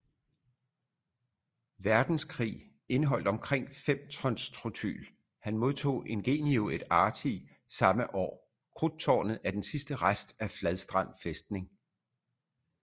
Verdenskrig indeholdt omkring fem tons trotylHan modtog ingenio et arti samme årKrudttårnet er den sidste rest af fladstrand fæstning